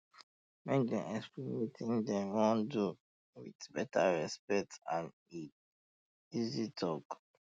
make dem explain um wetin um dem wan do um with better respect and easy talk